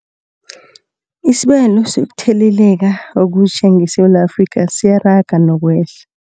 Isibalo sokuthele leka okutjha ngeSewula Afrika siyaraga nokwehla.